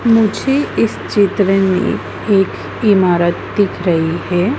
मुझे इस चित्र में एक इमारत दिख रही है।